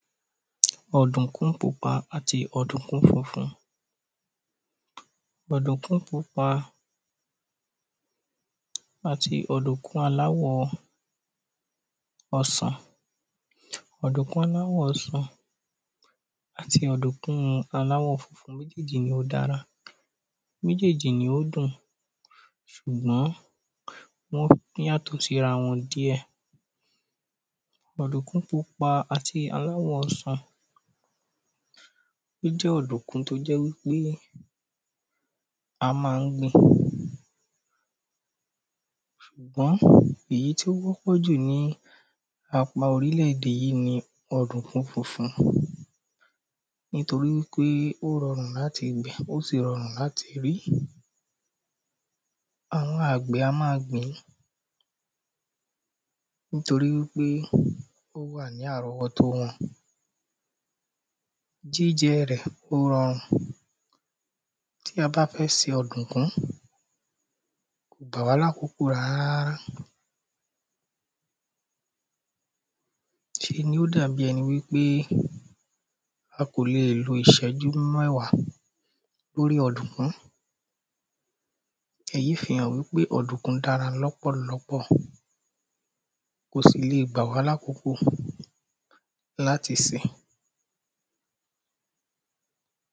Ò̩dùnkún pupa àti ò̩dùnkún funfun. O̩dùnkún pupa àti ò̩dùnkún aláwò̩ o̩sàn. Ò̩dùnkún aláwò̩ o̩sàn àti ò̩dùnkún aláwò̩ funfun, méjéjì ni ó dára. Méjéjì ni ó dùn. Sùgbó̩n wó̩ yàtò̩ síra wo̩n díè̩. Ò̩dúnkún pupa àti aláwò̩ o̩sàn ó jé̩ ò̩dúnkún tó jé̩ wípé a má a ń gbìn. Àmó̩ èyí tí ó wó̩pò̩ jù ní apá orílè̩-èdè yí ni ò̩dúnkún funfun. Nítorí wípé ó ro̩rùn láti gbìn, ó sì ro̩rùn láti rí. Àwo̩n àgbè̩ a má a gbìn-ín. Nítorí wípé ó wà ní àró̩wó̩tó wo̩n. Jíje̩ rè̩ ó ro̩rùn. Tí a bá fé̩ se ò̩dò̩kún, kò gbà wá ní àkókò rárá. Se ni ó dà bí e̩ni wípé a kò lè lo a kò lè lo ìsé̩jú mé̩wá lórí ò̩dùnkún. Èyí fi hàn wípé ò̩dùnkún dára ló̩pò̩lo̩pò̩. Kò sì le gbà wá lákókò láti sè.